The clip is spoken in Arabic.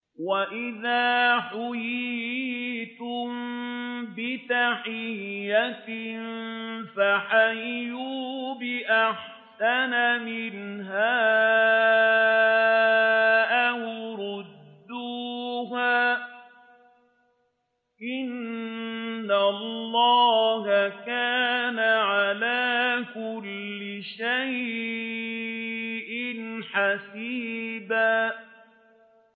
وَإِذَا حُيِّيتُم بِتَحِيَّةٍ فَحَيُّوا بِأَحْسَنَ مِنْهَا أَوْ رُدُّوهَا ۗ إِنَّ اللَّهَ كَانَ عَلَىٰ كُلِّ شَيْءٍ حَسِيبًا